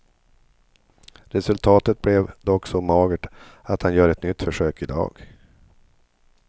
Resultatet blev dock så magert att han gör ett nytt försök i dag.